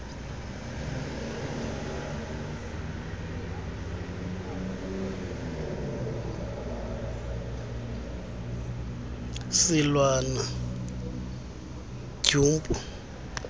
silwana gumpu u